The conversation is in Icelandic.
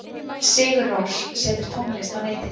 Sigur Rós setur tónlist á netið